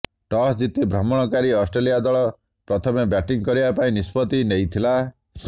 toss ଜିତି ଭ୍ରମଣକାରୀ Australia ଦଳ ପ୍ରତମେ ବ୍ୟାଟିଂ କରିବା ପାଇଁ ନିଷ୍ପତ୍ତି ନେଇଥିଲା